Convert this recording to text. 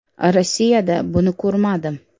Rossiyada buni ko‘rmadim”.